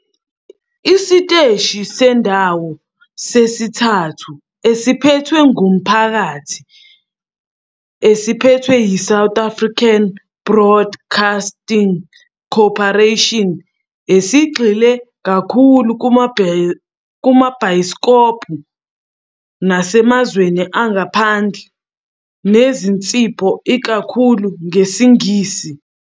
Isiteshi sendawo sesithathu esiphethwe ngumphakathi esiphethwe yiSouth African Broadcasting Corporation, esigxile kakhulu kumabhayisikobho nasemazweni angaphandle nezinsipho ikakhulu ngesiNgisi.